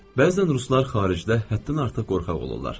Bəzən ruslar xaricdə həddən artıq qorxaq olurlar.